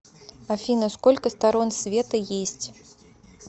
афина сколько сторон света есть